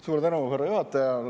Suur tänu, härra juhataja!